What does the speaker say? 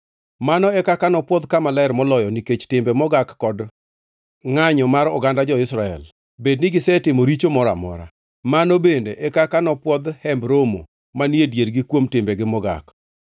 Mano e kaka nopwodh Kama Ler Moloyo nikech timbe mogak kod ngʼanyo mar oganda jo-Israel, bed ni gisetimo richo moro mora. Mano bende e kaka nopwodhi Hemb Romo manie diergi kuom timbegi mogak.